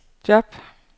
job